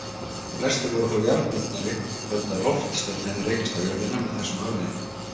Flestir voru þó jarðbundnari og töldu að loftsteinn hefði rekist á jörðina með þessum afleiðingum.